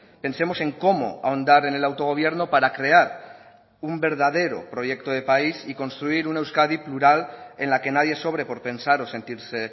pensemos en cómo ahondar en el autogobierno para crear un verdadero proyecto de país y construir una euskadi plural en la que nadie sobre por pensar o sentirse